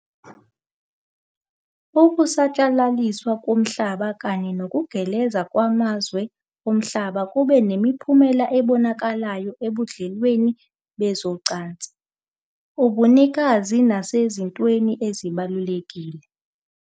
Ukusatshalaliswa komhlaba kanye nokugeleza kwamazwe omhlaba kube nemiphumela ebonakalayo ebudlelwaneni bezocansi, ubunikazi, nasezintweni ezibalulekile.